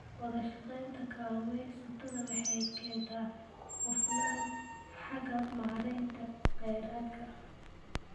Wadashaqeynta kalluumeysatada waxay keentaa hufnaan xagga maareynta kheyraadka.